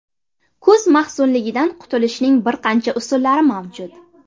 Kuz mahzunligidan qutulishning bir qancha usullari mavjud.